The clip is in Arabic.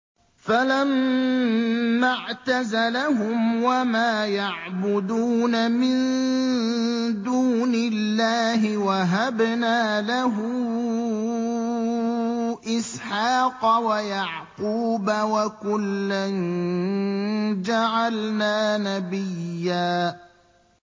فَلَمَّا اعْتَزَلَهُمْ وَمَا يَعْبُدُونَ مِن دُونِ اللَّهِ وَهَبْنَا لَهُ إِسْحَاقَ وَيَعْقُوبَ ۖ وَكُلًّا جَعَلْنَا نَبِيًّا